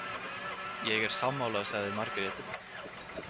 Ég er sammála, sagði Margrét.